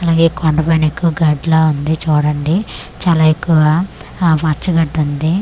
అలాగే కొండ పైన ఎక్కువ గడ్డి లా ఉంది చూడండి చాలా ఎక్కువగా ఆ పచ్చ గడ్డుంది.